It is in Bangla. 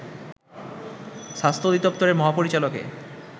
স্বাস্থ্য অধিদপ্তরের মহাপরিচালকে